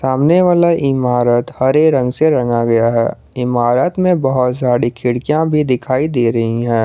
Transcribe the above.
सामने वाला इमारत हरे रंग से रंगा गया है इमारत में बहोत सारी खिड़कियां भी दिखाई दे रही हैं।